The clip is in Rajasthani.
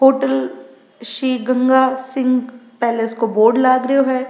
होटल श्री गंगा सिंह पैलेस को बोर्ड लाग रेहो है।